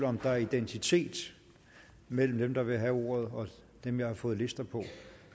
om der er identitet mellem dem der vil have ordet og dem jeg har fået lister på